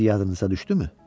İndi yadınıza düşdümü?